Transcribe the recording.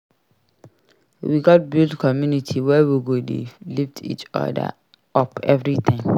We gats build community where we go dey lift each other up every time.